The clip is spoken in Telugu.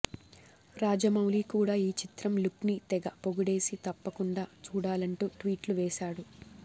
రాజమౌళి కూడా ఈ చిత్రం లుక్ని తెగ పొగిడేసి తప్పకుండా చూడాలంటూ ట్వీట్లు వేసాడు